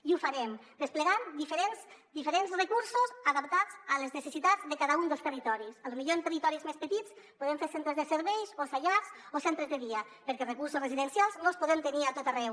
i ho farem desplegant diferents recursos adaptats a les necessitats de cada un dels territoris potser en territoris més petits podem fer centres de serveis o llars o centres de dia perquè recursos residencials no els podem tenir a tot arreu